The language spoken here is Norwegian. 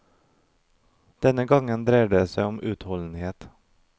Denne gangen dreier det seg om utholdenhet.